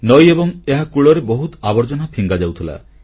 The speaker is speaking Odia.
ନଈ ଏବଂ ଏହା କୂଳରେ ବହୁତ ଆବର୍ଜନା ଫିଙ୍ଗାଯାଉଥିଲା